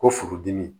Ko furudimi